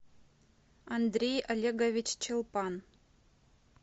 андрей олегович чулпан